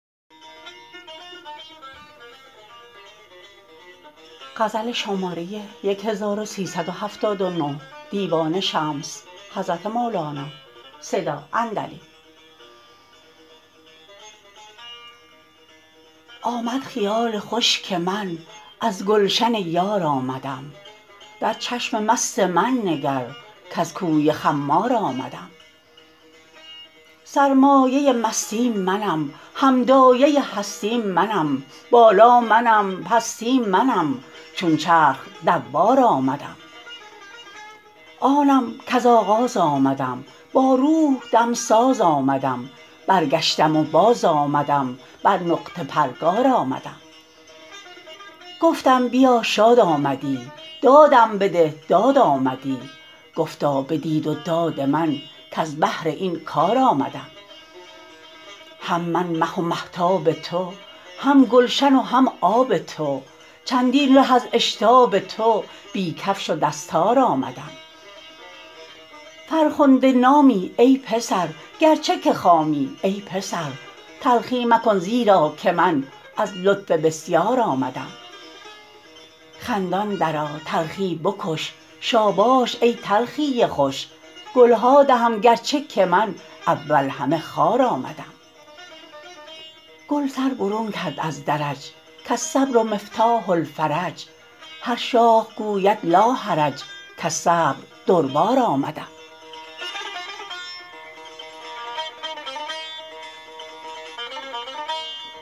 آمد خیال خوش که من از گلشن یار آمدم در چشم مست من نگر کز کوی خمار آمدم سرمایه مستی منم هم دایه هستی منم بالا منم پستی منم چون چرخ دوار آمدم آنم کز آغاز آمدم با روح دمساز آمدم برگشتم و بازآمدم بر نقطه پرگار آمدم گفتم بیا شاد آمدی دادم بده داد آمدی گفتا بدید و داد من کز بهر این کار آمدم هم من مه و مهتاب تو هم گلشن و هم آب تو چندین ره از اشتاب تو بی کفش و دستار آمدم فرخنده نامی ای پسر گرچه که خامی ای پسر تلخی مکن زیرا که من از لطف بسیار آمدم خندان درآ تلخی بکش شاباش ای تلخی خوش گل ها دهم گرچه که من اول همه خار آمدم گل سر برون کرد از درج کالصبر مفتاح الفرج هر شاخ گوید لاحرج کز صبر دربار آمدم